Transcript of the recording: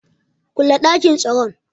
Kule dakin tsaron.